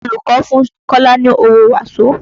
Olùkọ́ fún Kọ́lá ni owó waso